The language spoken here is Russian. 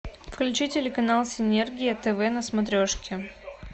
включи телеканал синергия тв на смотрешке